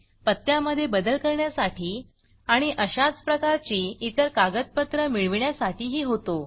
पत्त्यामधे बदल करण्यासाठी आणि अशाच प्रकारची इतर कागदपत्र मिळवण्यासाठीही होतो